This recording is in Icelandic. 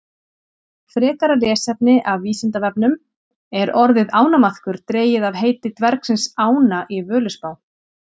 Frekara lesefni af Vísindavefnum: Er orðið ánamaðkur dregið af heiti dvergsins Ána í Völuspá?